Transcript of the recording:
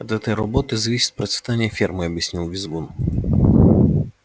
от этой работы зависит процветание фермы объяснил визгун